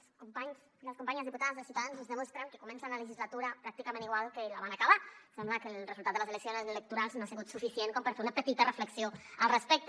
els companys i les companyes diputades de ciutadans ens demostren que comencen la legislatura pràcticament igual que la van acabar sembla que el resultat de les eleccions electorals no ha sigut suficient com per fer una petita reflexió al respecte